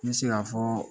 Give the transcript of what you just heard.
N bɛ se ka fɔɔ